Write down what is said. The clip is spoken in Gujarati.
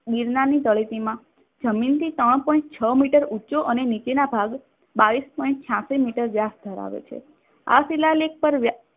ગિરનારની તળેટીમાં જમીન થી સવા પોઇન્ટ છ મીટર ઊંચો અને નીચેના ભાગ બાવીશ પોઇન્ટ છ્યાશી મીટર વ્યાસ ધરાવે છે. આ શિલાલેખ પર